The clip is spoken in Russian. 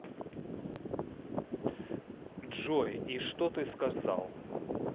джой и что ты сказал